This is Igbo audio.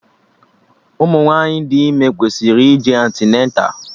Ụmụ nwaanyị dị ime kwesịrị ije antịneta